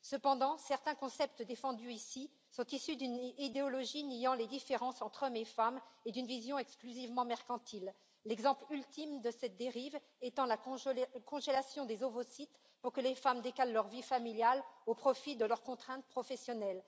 Cependant, certains concepts défendus ici sont issus d'une idéologie niant les différences entre hommes et femmes et d'une vision exclusivement mercantile, l'exemple ultime de cette dérive étant la congélation des ovocytes pour que les femmes décalent leur vie familiale au profit de leurs contraintes professionnelles.